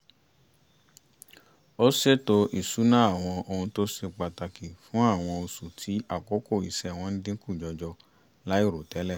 ó ṣètò ìṣúná àwọn ohun tó ṣe pàtàkì fún àwọn oṣù tí àkókò iṣẹ́ wọn dínkù jọjọ láì rò tẹ́lẹ̀